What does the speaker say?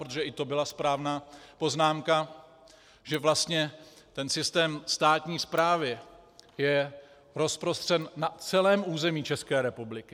Protože i to byla správná poznámka, že vlastně ten systém státní správy je rozprostřen na celém území České republiky.